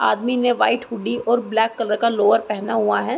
आदमी ने white hoodie और ब्लैक कलर का लोअर पहना हुआ है।